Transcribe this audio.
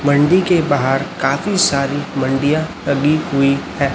मंडी के बाहर काफी सारी मंडियां लगी हुई हैं।